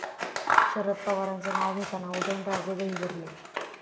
शरद पवारांचं नाव घेताना उदयनराजे गहिवरले